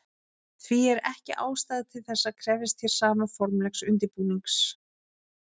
Því er ekki ástæða til þess að krefjast hér sama formlegs undirbúnings.